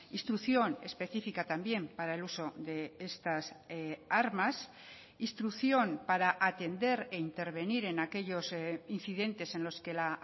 instrucción específica también para el uso de estas armas instrucción para atender e intervenir en aquellos incidentes en los que la